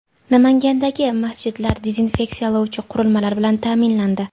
Namangandagi masjidlar dezinfeksiyalovchi qurilmalar bilan ta’minlandi.